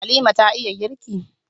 Halima ta iya girki?